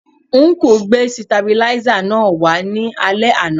Ọnkú gbé sitabiláísà náà wá ní alẹ́ àná